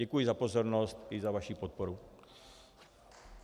Děkuji za pozornost i za vaši podporu.